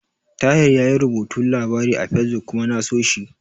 Tahir yayi rubuta labari a Fesbuk kuma na so shi.